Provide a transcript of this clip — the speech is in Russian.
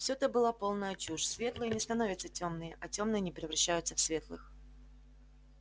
все это была полнейшая чушь светлые не становятся тёмными а тёмные не превращаются в светлых